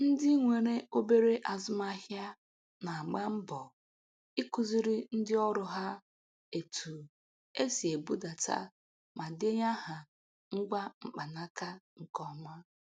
Ndị nwere obere azụmahịa na-agba mbọ ikuziri ndị ọrụ ha etu e si ebudata ma denye aha ngwa mkpanaka nke ọma.